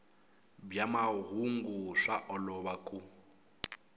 bya mahungu swa olova ku